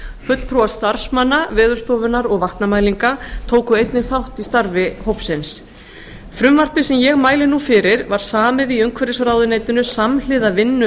fulltrúar starfsmanna veðurstofunnar og vatnamælinga tóku einnig þátt í starfi hópsins frumvarpið sem ég mæli nú fyrir var samið í umhverfisráðuneytinu samhliða vinnu